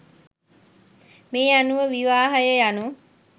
මේ අනුව විවාහය යනු